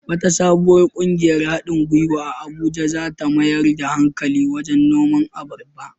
Wata sabuwar ƙungiyar haɗin gwiwa a Abuja za ta mayar da hankali wajen noman abarba.